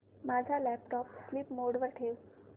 माझा laptop sleep mode वर ठेव